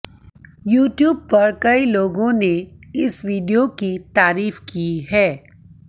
YouTube पर कई लोगों ने इस वीडियो की तारीफ की है